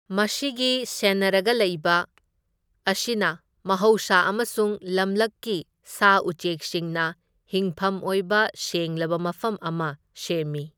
ꯃꯁꯤꯒꯤ ꯁꯦꯟꯅꯔꯒ ꯂꯩꯕ ꯑꯁꯤꯅ ꯃꯍꯧꯁꯥ ꯑꯃꯁꯨꯡ ꯂꯝꯂꯛꯀꯤ ꯁꯥ ꯎꯆꯦꯛꯁꯤꯡꯅ ꯍꯤꯡꯐꯝ ꯑꯣꯏꯕ ꯁꯦꯡꯂꯕ ꯃꯐꯝ ꯑꯃ ꯁꯦꯝꯃꯤ꯫